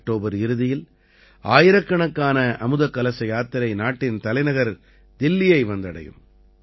October இறுதியில் ஆயிரக்கணக்கான அமுதக் கலச யாத்திரை நாட்டின் தலைநகர் தில்லிஐ வந்தடையும்